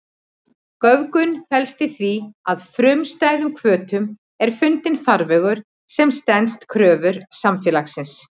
Göfgun felst í því að frumstæðum hvötum er fundinn farvegur sem stenst kröfur samfélagsins.